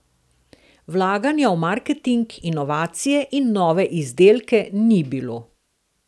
Vlaganja v marketing, inovacije in nove izdelke ni bilo.